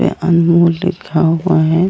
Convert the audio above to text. पे अनमोल लिखा हुआ है।